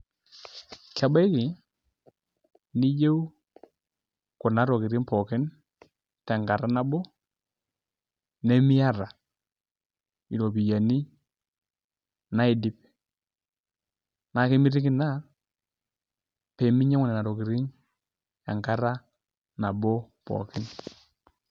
Kebaiki neyieu kuna tokitin pookin tenkata nabo nemiata iropiyiani naidip naa kemitiki ina pee minyiang'u nena tokitin enkata nabo pookin.